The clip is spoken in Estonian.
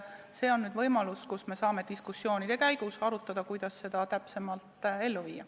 Siin on võimalus, et me saame diskussioonide käigus arutada, kuidas seda täpsemalt ellu viia.